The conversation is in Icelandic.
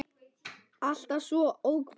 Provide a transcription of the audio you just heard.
Alltaf svo hógvær.